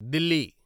Delhi